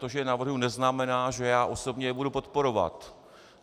To, že je navrhuji, neznamená, že já osobně je budu podporovat.